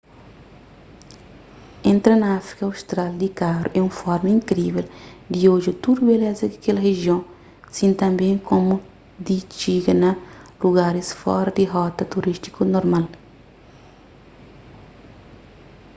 entra na áfrika austral di karu é un forma inkrível di odja tudu beleza di kel rijion si tanbê komu di txiga na lugaris fora di rota turístiku normal